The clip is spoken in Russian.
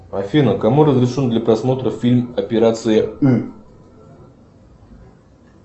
афина кому разрешен для просмотра фильм операция ы